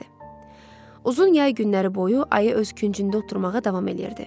Uzun yay günləri boyu ayı öz küncündə oturmağa davam eləyirdi.